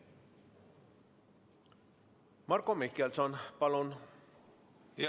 Marko Mihkelson, palun!